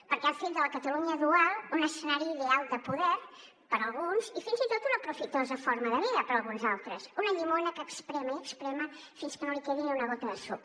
perquè han fet de la catalunya dual un escenari ideal de poder per alguns i fins i tot una profitosa forma de vida per alguns altres una llimona que esprémer i esprémer fins que no li quedi ni una gota de suc